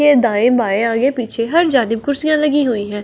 ये दाएं-बाएं आगे-पीछे हर जादीब कुर्सियाँ लगी हुई हैं।